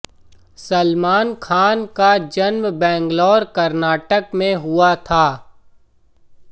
सलमान खान का जन्म बैंगलोर कर्नाटक में हुआ था